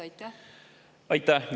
Aitäh!